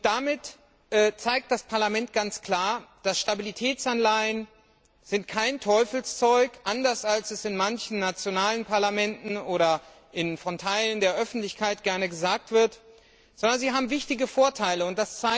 Damit zeigt das Parlament ganz klar, dass Stabilitätsanleihen kein Teufelszeug sind anders als es in manchen nationalen Parlamenten oder von Teilen der Öffentlichkeit gerne gesagt wird sondern dass sie wichtige Vorteile haben.